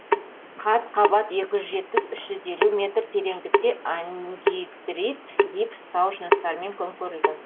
қат қабат екі жүз жетпіс үш жүз елу метр тереңдікте ангидрит гипс тау жыныстарымен көмкерілген